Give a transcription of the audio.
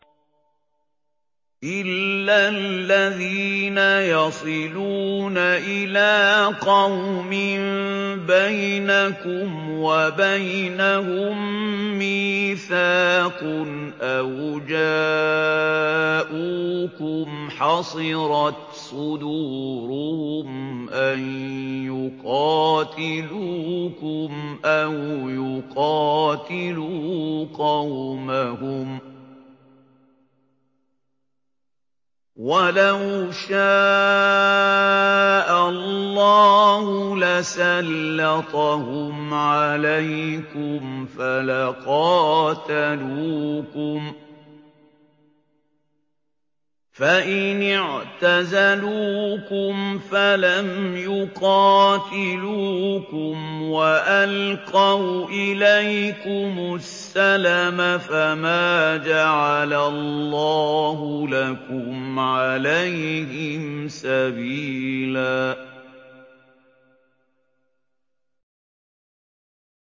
إِلَّا الَّذِينَ يَصِلُونَ إِلَىٰ قَوْمٍ بَيْنَكُمْ وَبَيْنَهُم مِّيثَاقٌ أَوْ جَاءُوكُمْ حَصِرَتْ صُدُورُهُمْ أَن يُقَاتِلُوكُمْ أَوْ يُقَاتِلُوا قَوْمَهُمْ ۚ وَلَوْ شَاءَ اللَّهُ لَسَلَّطَهُمْ عَلَيْكُمْ فَلَقَاتَلُوكُمْ ۚ فَإِنِ اعْتَزَلُوكُمْ فَلَمْ يُقَاتِلُوكُمْ وَأَلْقَوْا إِلَيْكُمُ السَّلَمَ فَمَا جَعَلَ اللَّهُ لَكُمْ عَلَيْهِمْ سَبِيلًا